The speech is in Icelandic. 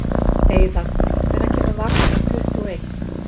Eiðar, hvenær kemur vagn númer tuttugu og eitt?